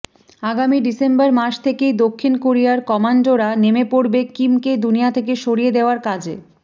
আগামী ডিসেম্বর মাস থেকেই দক্ষিণ কোরিয়ার কমান্ডোরা নেমে পড়বে কিমকে দুনিয়া থেকে সরিয়ে দেওয়ার কাজে